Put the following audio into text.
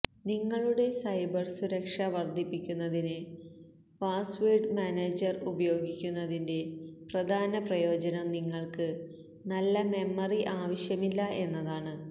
നിങ്ങളുടെ സൈബർ സുരക്ഷ വർദ്ധിപ്പിക്കുന്നതിന് പാസ്വേർഡ് മാനേജർ ഉപയോഗിക്കുന്നതിൻ്റെ പ്രധാന പ്രയോജനം നിങ്ങൾക്ക് നല്ല മെമ്മറി ആവശ്യമില്ല എന്നതാണ്